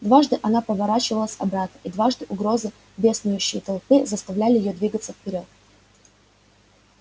дважды она поворачивалась обратно и дважды угрозы беснующейся толпы заставляли её двигаться вперёд